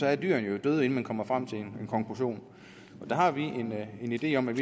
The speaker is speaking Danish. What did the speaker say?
er dyrene jo døde inden man kommer frem til en konklusion der har vi en idé om at